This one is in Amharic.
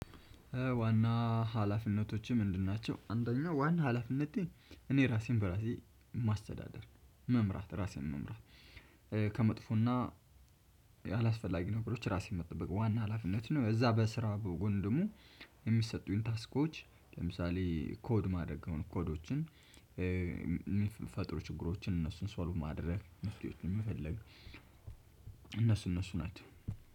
ዋና ሀላፊነቶችህ ምንድን ናቸው? አንደኛው ዋና ሀላፊነቴ እኔ ራሴን በራሴ ማስተዳደር መምራት ራሴን መምራት ከመጥፎና አላስፈላጊ ነገሮች ራሴን መጠበቅ ዋና ሀላፊነት ነው። እዛ በስራ በጎን ደግሞ የሚሰጡኝ ታስኮች። ለምሳሌ ኮድ ማድረግ የሆኑ ኮዶችን የሚፈጥሩ ችግሮችን እነሱን ሶልቭ ማድረግ መፈለግ። እነሱ ናቸው።